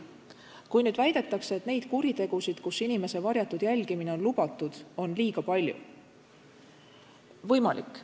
Kui väidetakse, et neid kuritegusid, mille korral inimese varjatud jälgimine on lubatud, on liiga palju – võimalik.